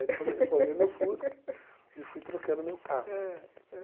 Aí depois eu reformei meu Fusca e fui trocando meu carro. Ãh